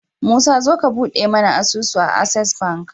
musa zo ka buɗe mune asusu a access bank